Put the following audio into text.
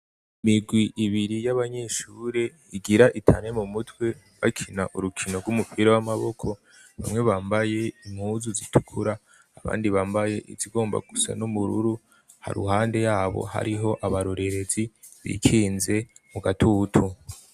Imirwi ibiri y'abanyeshure igira itane mu mutwe bakina urukino rw'umupira w'amaboko. Bamwe bambaye impuzu zitukura, abandi bambaye izigomba gusa n'ubururu . Haruhande y'abo, hariho abarorerezi bikinze mu gatutu.